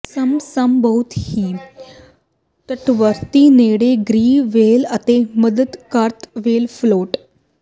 ਸਮ ਸਮ ਬਹੁਤ ਹੀ ਤੱਟਵਰਤੀ ਨੇੜੇ ਗ੍ਰੇ ਵੇਲ੍ਹ ਅਤੇ ਸੁੰਦਰ ਕਾਤਲ ਵੇਲ੍ਹ ਫਲੋਟ